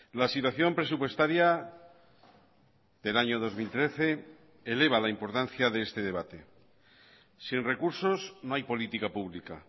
la situación presupuestaria del año dos mil trece eleva la importancia de este debate sin recursos no hay política pública